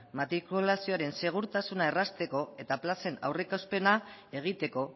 matrikulazioaren segurtasuna errazteko eta plazen aurreikuspena egiteko